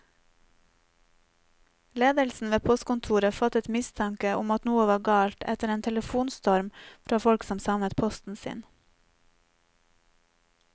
Ledelsen ved postkontoret fattet mistanke om at noe var galt etter en telefonstorm fra folk som savnet posten sin.